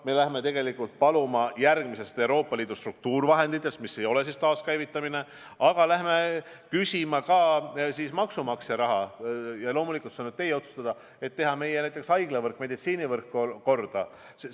Me läheme paluma raha Euroopa Liidu struktuurifondidest, mis ei hõlma taaskäivitamist, aga me läheme küsima ka maksumaksja raha – ja loomulikult, see on nüüd teie otsustada –, et teha korda meie haiglavõrk, üldse meie meditsiinivõrk.